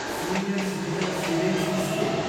senior citizen savings scheme